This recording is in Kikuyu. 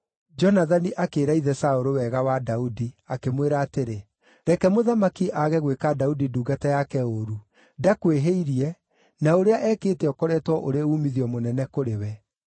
Jonathani akĩĩra ithe Saũlũ wega wa Daudi, akĩmwĩra atĩrĩ, “Reke mũthamaki aage gwĩka Daudi ndungata yake ũũru; ndakwĩhĩirie, na ũrĩa ekĩte ũkoretwo ũrĩ uumithio mũnene kũrĩ we.